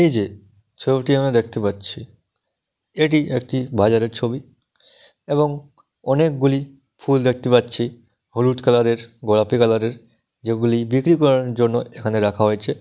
এই যে ছবিটি আমরা দেখতে পাচ্ছি এটি একটি বাজারের ছবি | এবং অনেকগুলি ফুল দেখতে পাচ্ছি হলুদ কালার - এর গোলাপি কালার - এর যেগুলি বিক্রি করার জন্য এখানে রাখা হয়েছে |